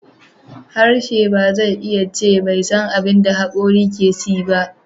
Harshe ba zai iya ce bai san abin da hakorin ke ci ba.